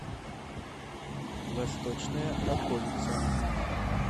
восточная околица